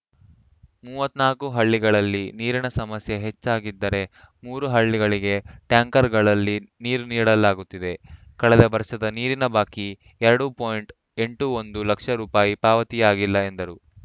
ಮೂವತ್ತ್ ನಾಲ್ಕು ಹಳ್ಳಿಗಳಲ್ಲಿ ನೀರಿನ ಸಮಸ್ಯೆ ಹೆಚ್ಚಾಗಿದ್ದರೆ ಮೂರು ಹಳ್ಳಿಗಳಿಗೆ ಟ್ಯಾಂಕರ್‌ಗಳಲ್ಲಿ ನೀರು ನೀಡಲಾಗುತ್ತಿದೆ ಕಳೆದ ವರ್ಷದ ನೀರಿನ ಬಾಕಿ ಎರಡು ಪಾಯಿಂಟ್ ಎಂಟು ಒಂದು ಲಕ್ಷ ರು ಪಾವತಿಯಾಗಿಲ್ಲ ಎಂದರು